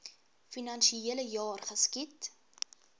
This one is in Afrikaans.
finansiele jaar geskied